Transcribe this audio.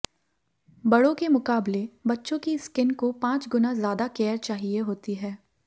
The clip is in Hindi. बड़ों के मुकाबले बच्चों की स्किन को पांच गुना ज्यादा केयर चाहिए होती है